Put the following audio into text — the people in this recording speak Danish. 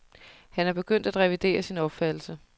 Han er begyndt at revidere sin opfattelse.